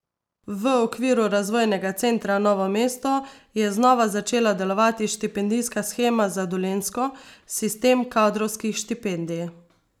V okviru Razvojnega centra Novo mesto je znova začela delovati štipendijska shema za Dolenjsko, sistem kadrovskih štipendij.